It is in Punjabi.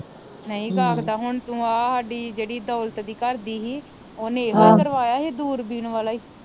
ਨਹੀਂ ਗਾਖਦਾ ਹੁਣ ਤੂੰ ਆ ਸਾਡੀ ਜਿਹੜੀ ਦੌਲਤ ਦੀ ਘਰਦੀ ਹੀ ਓਹਨੇ ਇਹੋ ਕਰਵਾਇਆ ਹੀ ਦੁਰਬੀਨ ਵਾਲਾ ਈ